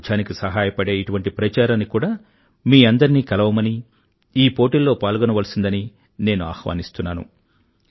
పారిశుధ్యానికి సహాయపడే ఇటువంటి ప్రచారానికి కూడా మీ అందరినీ కలవమని ఈ పోటీల్లో పాల్గొనవలసిందని నేను ఆహ్వానిస్తున్నాను